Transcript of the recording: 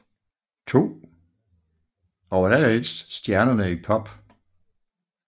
II og allerældst stjernerne i Pop